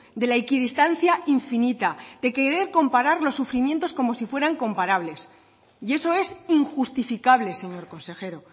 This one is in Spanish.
de la equidistancia infinita de querer comparar los sufrimientos como si fueran comparables y eso es injustificable señor consejero